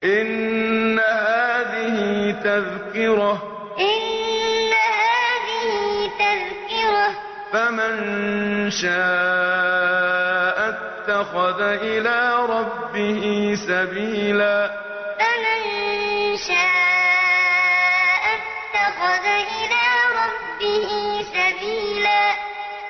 إِنَّ هَٰذِهِ تَذْكِرَةٌ ۖ فَمَن شَاءَ اتَّخَذَ إِلَىٰ رَبِّهِ سَبِيلًا إِنَّ هَٰذِهِ تَذْكِرَةٌ ۖ فَمَن شَاءَ اتَّخَذَ إِلَىٰ رَبِّهِ سَبِيلًا